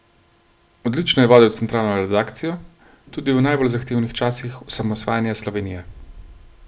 Odlično je vodil centralno redakcijo, tudi v najbolj zahtevnih časih osamosvajanja Slovenije.